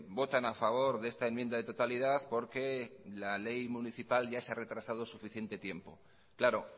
votan a favor de esta enmienda de totalidad porque la ley municipal ya se ha retrasado suficiente tiempo claro